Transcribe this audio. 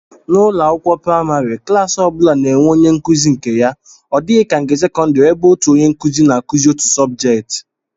N'ụlọakwụkwọ praịmarị, klaasị ọ bụla na-enwe onyenkụzi nke ya, ọ dịghị ka nke sekọndịrị ebe otu onyenkụzi na-akụzi otu sọbjeet